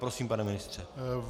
Prosím, pane ministře.